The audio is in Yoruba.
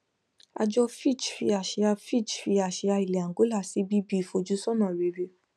àjọ fitch fi àsìá fitch fi àsìá ilẹ angola sí bb ìfojúsónà rere